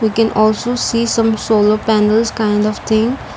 we can also see some solo panels kind of thing.